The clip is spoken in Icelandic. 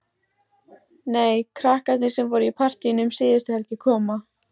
Nei, krakkarnir sem voru í partíinu um síðustu helgi koma.